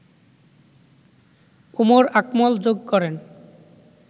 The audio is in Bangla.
উমর আকমল যোগ করেন